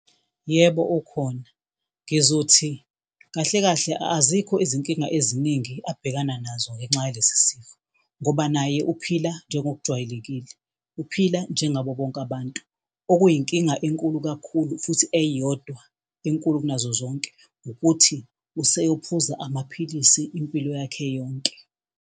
Yebo, ukhona. Ngizothi kahle kahle azikho izinkinga eziningi abhekana nazo ngenxa yaso lesi sifo ngoba naye uphila njengokujwayelekile. Uphila njengabo bonke abantu. Okuyinkinga enkulu kakhulu, futhi eyodwa enkulu kunazo zonke ukuthi useyophuza amaphilisi impilo yakhe yonke.